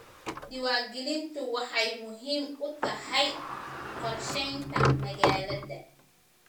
Diiwaangelintu waxay muhiim u tahay qorsheynta magaalada.